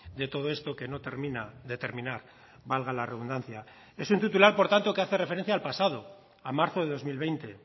de todo esto que no termina de terminar valga la redundancia es un titular por tanto que hace referencia al pasado a marzo de dos mil veinte